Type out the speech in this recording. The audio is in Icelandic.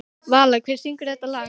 Vala, hver syngur þetta lag?